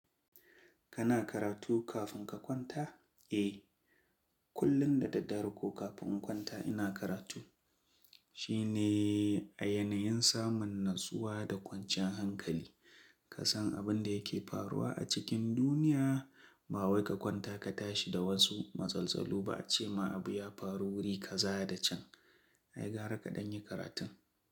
Kana karatu kafin ka kwanta? Eh, kullum da daddare ko kafin in kwanta ina karatu. Shi ne a yanayin samun natsuwa da kwanciyan hankali. Ka san abin da yake faruwa a cikin duniya, ba wai ka kwanta ka tashi da wasu matsaltsalu ba, ce ma abu ya faru wuri ka zaya da can. Ai gara kaɗan yi karatun.